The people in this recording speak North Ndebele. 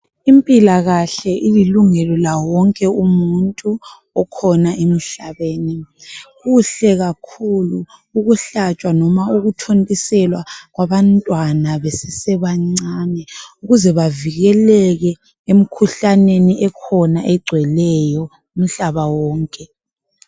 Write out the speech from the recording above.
Impilakahle ililungelo lomuntu wonke okhona emhlabeni kuhle kakhulu ukuhlatshwa kumbe ukuthontiselwa kwabantwana besesebancane ukuze bavikeleke emikhuhlaneni ekhona egcweleyo umhlaba wonke